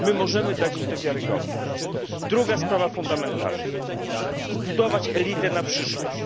My możemy dać im tę wiarygodność. Druga sprawa fundamentalna zbudowanie elity na przyszłość.